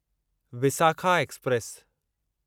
Visakha express